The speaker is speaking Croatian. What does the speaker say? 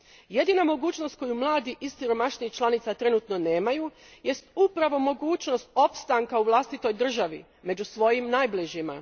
Jedina mogućnost koju mladi iz siromašnijih članica trenutno nemaju jest upravo mogućnost opstanka u vlastitoj državi, među svojim najbližima.